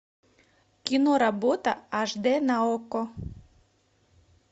киноработа аш д на окко